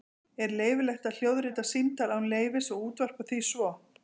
Er leyfilegt að hljóðrita símtal án leyfis og útvarpa því svo?